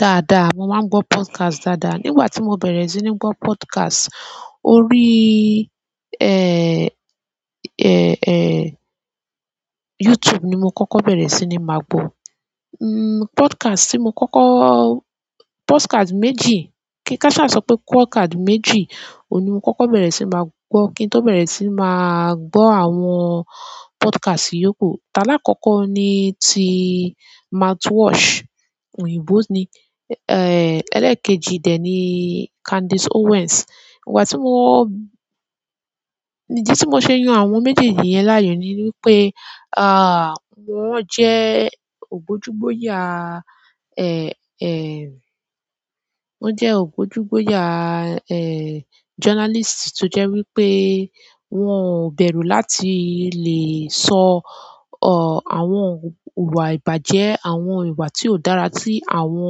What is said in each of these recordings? Dáadáa, mo máa ń gbọ́ podcast dáadáa. Nígbà tí mo bẹ̀rẹ̀ sí ní gbọ́ podcast, orí, e, e, e, YouTube ni mo kọ́kọ́ bẹ̀rẹ̀ sí ní máa gbọ̀. N, podcast tí mo kọ́kọ́-- podcast méjì, kí kaṣá sọ pé podcast méjì ni mo kọ́kọ́ bẹ̀rẹ̀ sí máa gbọ́ kí n tó bẹ̀rẹ̀ sí máa gbọ́ àwọn podcast yòókù. Ọ̀la àkọ́kọ́ ni ti Mouthwash, òyìnbó ni, e, ẹlẹ́ẹ̀kejì dẹ̀ ni Candace Owens. Ìgbà tí mo, ìdí tí mo ṣe yan àwọn méjèèjì yẹn láàyò ni wípé, a, wọ́n jẹ́ ògbójúbóyà, ẹ, ẹ, wọ́n jẹ́ ògbójúbóyà, ẹ, journalist tó jẹ́ wípé wọ́n o bẹ̀rù láti lè sọ, ọ, àwọn ìwà ìbàjẹ́, àwọn ìwà tí ó dára tí àwọn,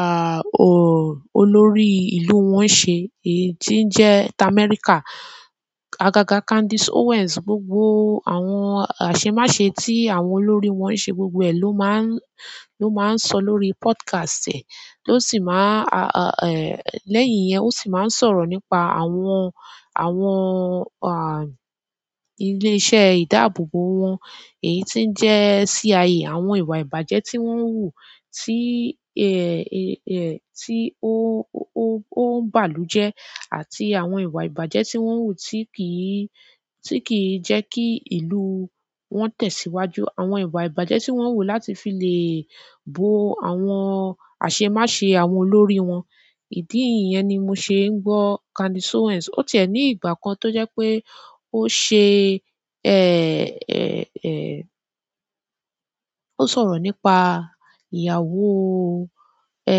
a, o, olórí ìlú wọn ń ṣe, èyí tí ń jẹ́ America. Agaga Candace Owens, gbogbo àwọn àṣemáṣe tí àwọn olórí wọn ń ṣe gbogbo ẹ̀ ló máa ń, ló máa ń sọ lórí podcast ẹ. Lo sì máa, a, a, a, lẹ́yìn yẹn o sì máa ń sọ̀rọ̀ nípa àwọn, àwọn, a, ilé-iṣẹ́ ìdábòbò wọn. Èyí tí ń jẹ́ CIA, àwọn ìwà ìbàjẹ́ tí wọ́n ń hù, tí, ẹ, ẹ, ẹ, tí o, o, o n bàlùjẹ, àti àwọn ìwà ìbàjẹ́ tí wọ́n ń hù tí kì í, tí kì í jẹ́ kí ìlú wọn tẹ̀síwájú. Àwọn ìwà ìbàjẹ́ tí wọ́n ń hù láti fi lè bo àwọn àṣemáṣe àwọn olórí wọn. Ìdí ni yẹn ti mó ṣe ǹ gbọ Candice Owen o tí ẹ ni ìgbà kàn to jẹ pe oṣe ẹ ẹ ẹ ó sọ̀rọ̀ nípa ìyàwó, ẹ,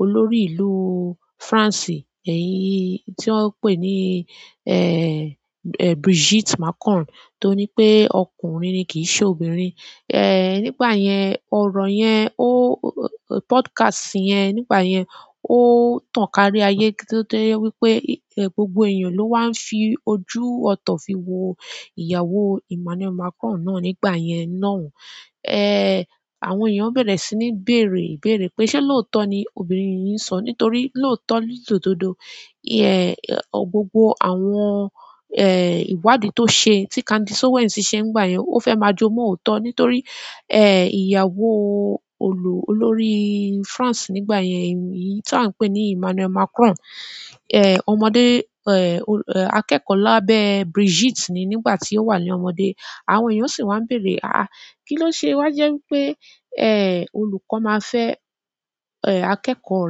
olórí ìlú France, èyí tí wọ́n ń pè ní, ẹ, ẹ, Brigitte Macron, tó ní pé ọkùnrin ni, kì í ṣe obìnrin. Ẹ, nígbà yẹn, ọ̀rọ̀ yẹn, ó, podcast yẹn nígbà yẹn, ó tàn kárí ayé tó jẹ́ wípé gbogbo èèyàn ló wá ń fi ojú ọ̀tọ̀ fi wo ìyàwó Emmanuel Macron náà nígbà yẹn ná. Ẹ, àwọn èèyàn bẹ̀rẹ̀ sí ní béèrè béèrè pé ṣé lóòótọ́ ni obìnrin yìí ń sọ? Nítorí lóòótọ́ lódoọdọọ, ìyẹn, gbogbo àwọn, ẹ, ìwádìí tó ṣe, tí Candace Owens ṣe nígbà yẹn, ó fẹ́ máa jomọ́ òótọ́ nítorí, ẹ, ìyàwó olú-olórí France nígbà yẹn yìí tí à ń pè ní Emmanuel Macron, ẹ, ọmọdé, ẹ, akẹ́kọ̀ọ́ lábẹ́ Brigitte ni nígbà tí ó wà ní ọmọdé. Àwọn èèyàn sì wá ń béèrè, "àáa, kí ló ṣe?" Wá jẹ́ wípé, ẹ, olùkọ́ máa fẹ́, ẹ, akẹ́kọ̀ọ́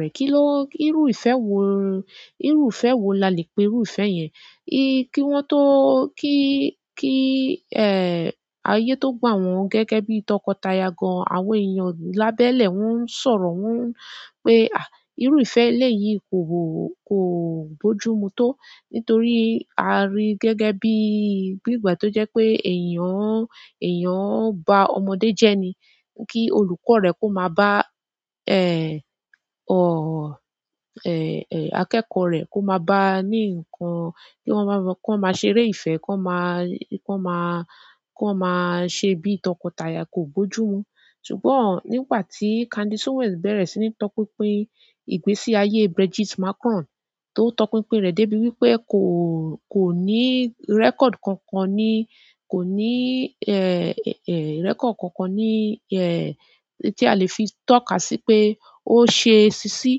rẹ̀. Kí ló, irú ìfẹ́ wo, irú ìfẹ́ wo la lè pe irú ìfẹ́ yẹn? Í, kí wọ́n tó, kí, kí, ẹ, ayé tó gbà wọ́n gẹ́gẹ́ bí tọkọtaya gan, àwọn èèyàn lábẹ́lẹ̀ wọ́n ń sọ̀rọ̀, wọ́n ń pe, "àh, irú ìfẹ́ elé yìí kò, kò gbójú mu tó." Nítorí a rí i gẹ́gẹ́ bí, bí ìgbà tó jẹ́ pé èèyàn, èèyàn ń ba ọmọdé jẹ́ ni. Kí olùkọ́ rẹ kó máa bá, ẹ, ọ, ẹ, ẹ, akẹ́kọ̀ọ́ rẹ̀ kó máa bá a ní nǹkan. Kí wọ́n máa, kó máa ṣeré ìfẹ́, kó máa, kó máa, kó máa ṣe bí tọkọtaya kò bójú mu. Ṣùgbọ́n nígbà tí Candace Owens bẹ̀rẹ̀ sí ní tọpinpe ìgbésí ayé Brigitte Macron, tó ń tọpinpe rẹ̀ dé bí wípé kò, kò ní rẹ́kọ̀ọ̀dì kankan ni, kò ní, ẹ, ẹ, ẹ, ìrẹ́kọ̀ọ̀dì kankan ni, ẹ, tí a lè fi tọ́ka sí pé ó ṣe ṣiṣi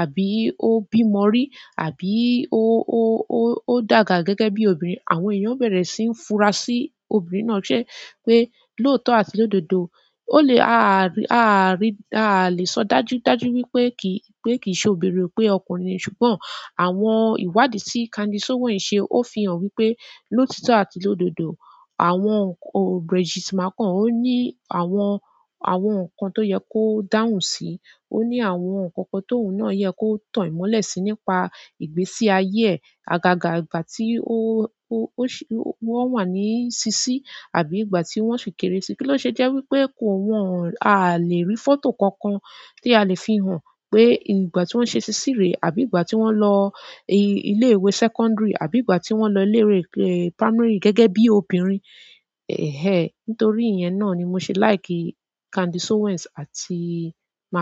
àbí ó bímọ́ rí àbí ó, ó, ó dàgbà gẹ́gẹ́ bí obìnrin. Àwọn èèyàn bẹ̀rẹ̀ sí ń fura sí obìnrin náà ṣe pé lóòótọ́ àti lódodo, ó le, a à rí, a à rí, a à lè sọ dájú dájú wípé kì í, pé kì í ṣe obìnrin, pé ọkùnrin ni. Ṣùgbọ́n àwọn ìwádìí tí Candace Owens ṣe, ó fi hàn wípé lóòtítọ́ àti lódodo, àwọn, o, Brigitte Macron ó ní àwọn, àwọn nǹkan tó yẹ kó dáhùn sí. Oni àwọn nkan kan ti oun no ye ko tan imole si nípa ìgbésí aye e agaga ìgbà tí ó, ó, ó ṣe, ó wàn wa ní ṣiṣi àbí ìgbà tí wọ́n ṣe kéré si. Kí ló ṣe jẹ́ wípé kò wọ́n, a à lè rí fọ́tò kankan tí a lè fi hàn pé ìgbà tí wọ́n ṣe ṣiṣi rẹ̀ àbí ìgbà tí wọ́n lọ ilé ìwé sẹ́kọ́ńdìrì àbí ìgbà tí wọ́n lọ ilé ìwé, ẹ, pámárì gẹ́gẹ́ bí obìnrin. Ẹ̀hẹ́n, nítorí ìyẹn náà ni mo ṣe like Candace Owens àti Macron.